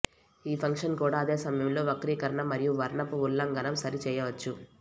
ఈ ఫంక్షన్ కూడా అదే సమయంలో వక్రీకరణ మరియు వర్ణపు ఉల్లంఘనం సరి చేయవచ్చు